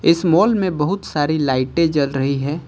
इस मॉल में बहुत सारी लाइटें जल रही है।